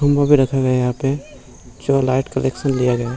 मोमोस रखा गया यहाँ पे जो लाइट कलेक्शन लिया गया।